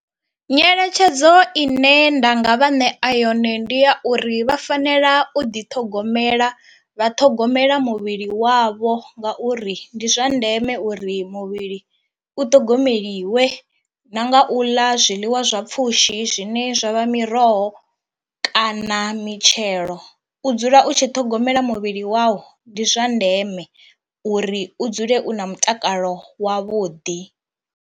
Nyeletshedzo ine nda nga vha nea yone ndi ya uri vha fanela u ḓi ṱhogomela vha ṱhogomela muvhili wavho ngauri ndi zwa ndeme uri muvhili u ṱhogomeliwe na nga u ḽa zwiḽiwa zwa pfhushi zwine zwa vha miroho kana mitshelo, u dzula u tshi ṱhogomela muvhili wau ndi zwa ndeme uri u dzule u na mutakalo wavhuḓi.